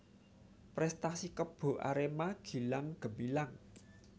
Prestasi Kebo Arema gilang gemilang